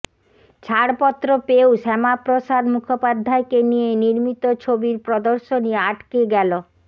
ছাড়পত্র পেয়েও শ্যামাপ্রসাদ মুখোপাধ্যায়কে নিয়ে নির্মিত ছবির প্রদর্শনী আটকে গেল